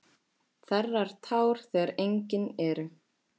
Þerrar tár þegar engin eru.